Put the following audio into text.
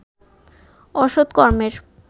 অসত কর্মের